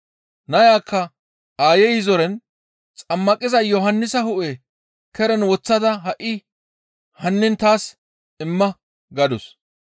Nayakka aayey zoren, «Xammaqiza Yohannisa hu7e keren woththada ha7i hannin taas imma» gadus.